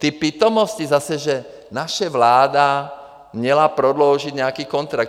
Ty pitomosti zase, že naše vláda měla prodloužit nějaký kontrakt.